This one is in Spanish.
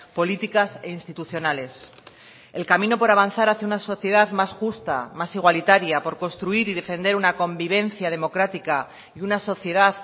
políticas e institucionales el camino por avanzar hacia una sociedad más justa más igualitaria por construir y defender una convivencia democrática y una sociedad